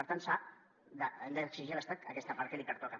per tant s’ha d’exigir a l’estat aquesta part que li pertoca